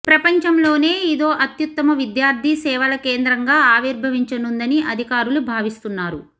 ప్రపంచంలోనే ఇదో అత్యుత్తమ విద్యార్థి సేవల కేంద్రంగా ఆవిర్భవించనుందని అధికారులు భావిస్తున్నారు